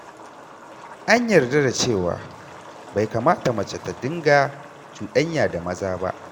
An yarda da cewa bai kamata mace ta dinga cuɗanya da maza ba.